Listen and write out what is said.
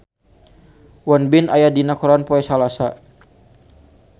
Won Bin aya dina koran poe Salasa